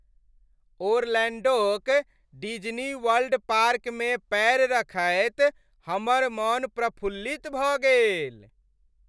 ओरलैंडोक डिज्नीवर्ल्ड पार्कमे पैर रखैत हमर मन प्रफुल्लित भऽ गेल।